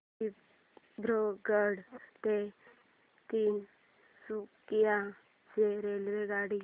दिब्रुगढ ते तिनसुकिया ची रेल्वेगाडी